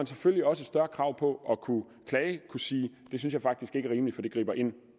selvfølgelig også større krav på at kunne klage at kunne sige det synes jeg faktisk ikke er rimeligt for det griber ind